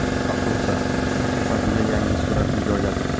Afruza sahifasiga yangi suratini joyladi.